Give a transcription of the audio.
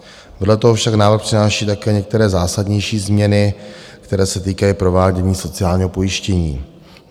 Vedle toho však návrh přináší také některé zásadnější změny, které se týkají provádění sociálního pojištění.